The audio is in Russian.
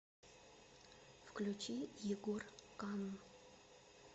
включи егор канн